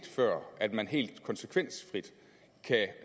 før at man helt konsekvensfrit kan